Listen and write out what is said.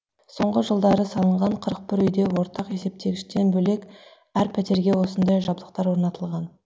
соңғы жылдары салынған қырық бір үйде ортақ есептегіштен бөлек әр пәтерге осындай жабдықтар орнатылған